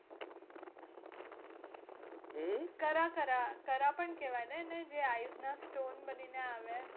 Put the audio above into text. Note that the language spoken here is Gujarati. હમ કરા કરા કરા પણ કેવાય ને એને જે ice ના stone બની ને આવે?